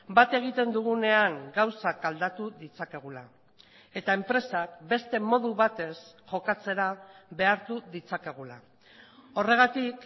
bat egiten dugunean gauzak aldatu ditzakegula eta enpresak beste modu batez jokatzera behartu ditzakegula horregatik